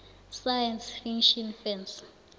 science fiction fans